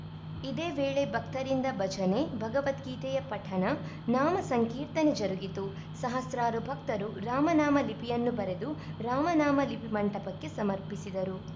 ಇದೇ ವೇಳೆ ಭಕ್ತರಿಂದ ಭಜನೆ ಭಗವದ್ಗೀತೆಯ ಪಠಣ ನಾಮ ಸಂಕೀರ್ತನೆ ಜರುಗಿತು ಸಹಸ್ರಾರು ಭಕ್ತರು ರಾಮನಾಮ ಲಿಪಿಯನ್ನು ಬರೆದು ರಾಮನಾಮ ಲಿಪಿ ಮಂಟಪಕ್ಕೆ ಸಮರ್ಪಿಸಿದರು